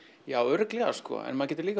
já örugglega sko en maður getur